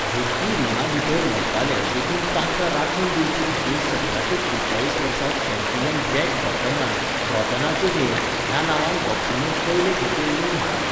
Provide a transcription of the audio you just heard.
झुजपी रिंगांभीतर मरताले देखून तांकां राखण दिवचेखातीर सतराशे त्रेचाळीस वर्सा चॅम्पियन जॅक ब्रॉटनान, ब्रॉटनाचे नेम, ह्या नांवान बॉक्सिंगेंत पयले खेपे नेम हाडले.